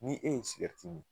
Ni e ye sigɛriti mi